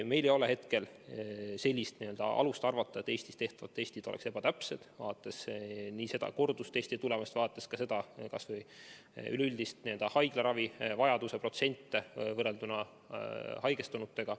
Meil ei ole hetkel alust arvata, et Eestis tehtavad testid oleks ebatäpsed, vaadates kordustestide tulemusi ja vaadates ka üleüldist haiglaravivajaduse protsenti võrrelduna haigestunutega.